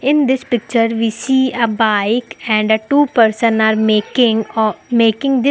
in this picture we see a bike and a two person are making o making this --